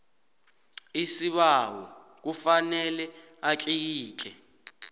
isibawo kufanele atlikitle